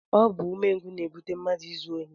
Ọ bụ umengwụ na-ebute mmadụ izu ohi